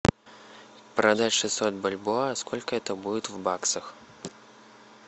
продать шестьсот бальбоа сколько это будет в баксах